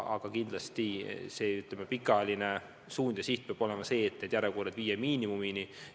Aga pikaajaline suund peab kindlasti olema viia järjekorrad miinimumini.